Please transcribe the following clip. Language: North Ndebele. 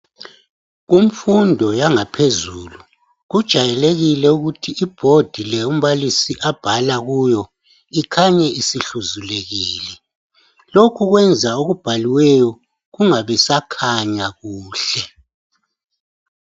Kumfundo yangaphezulu kujayelekile ukuthi ibhodi le umbalisi abhala kuyo ikhanye isihluzulekile. Lokhu kwenza okubhaliweyo kungabisakhanya kuhle.